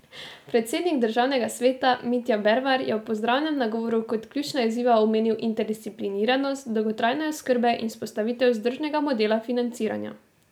Predsednik državnega sveta Mitja Bervar je v pozdravnem nagovoru kot ključna izziva omenil interdisciplinarnost dolgotrajne oskrbe in vzpostavitev vzdržnega modela financiranja.